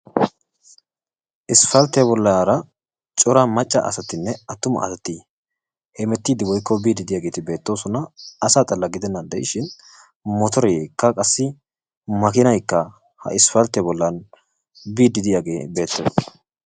Isppalttee bollaara Cora macca asatinne attuma asati hemettiidi woykko biidi diyaageeti beettoosona. Asaa xalaa gidennan dishshin mottoreekka qassi makkiinaykka ha issppalttiya bollan biidi diyaagee beettees.